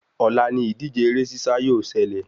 Òla ni ìdíje eré sísá yóò selè